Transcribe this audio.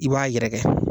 I b'a yɛrɛkɛ